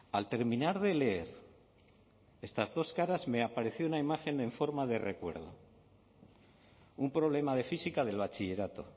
al terminar de leer estas dos caras me apareció una imagen en forma de recuerdo un problema de física del bachillerato